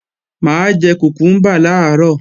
Mà á jẹ kùkúmbà làárọ̀